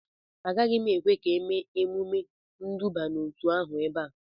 Agaghị m ekwe ka ha mee emume nduba n'otu ahụ ebe a